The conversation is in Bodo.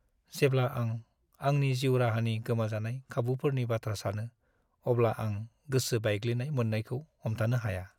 जेब्ला आं आंनि जिउ राहानि गोमाजानाय खाबुफोरनि बाथ्रा सानो अब्ला आं गोसो बायग्लिनाय मोन्नायखौ हमथानो हाया।